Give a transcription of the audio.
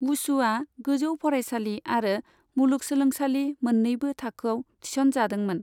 वुशुआ गोजौ फरायसालि आरो मुलुगसोलोंसालि मोन्नैबो थाखोआव थिसन जादोंमोन।